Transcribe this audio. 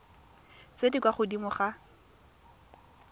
tse di kwa godimo ga